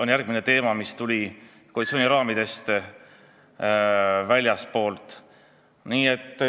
Nii et on teemasid, mis tulid koalitsiooni raamidest väljastpoolt.